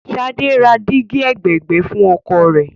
Ṣadé ra dígí ẹ̀gbẹ̀ẹ̀gbẹ́ fún ọkọ̀ rẹ̀.